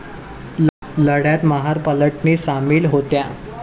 लढ्यात महार पलटणी सामील होत्या.